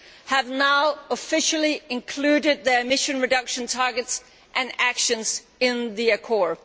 have now officially included their emission reduction targets and actions in the Accord.